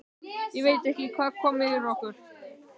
Ég veit ekki hvað kom yfir okkur.